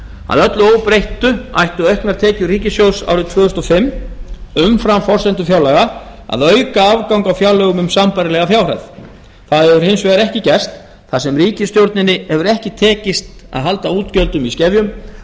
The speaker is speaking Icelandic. að öllu óbreyttu ættu auknar tekjur ríkissjóðs árið tvö þúsund og fimm umfram forsendur fjárlaga að auka afgang á fjárlögum um sambærilega fjárhæð það hefur hins vegar ekki gerst þar sem ríkisstjórninni hefur ekki tekist að halda útgjöldum í skefjum